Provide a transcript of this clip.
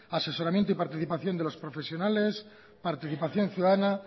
asesoramiento y participación de los profesionales participación ciudadana